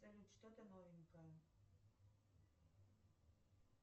салют что то новенькое